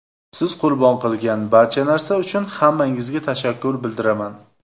Siz qurbon qilgan barcha narsa uchun hammangizga tashakkur bildiraman.